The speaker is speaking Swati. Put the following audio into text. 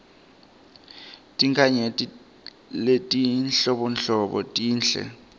tinkhanyeti letinhlobonhlobo tinhle